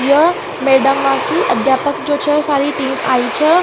यह मैडमा की अध्यापक जो छ सारि टीम आई छ।